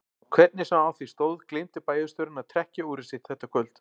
Hvernig sem á því stóð gleymdi bæjarstjórinn að trekkja úrið sitt þetta kvöld.